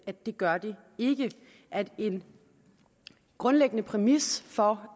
at det gør den ikke at en grundlæggende præmis for